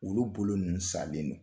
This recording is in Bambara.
Olu bolo ninnu salen non.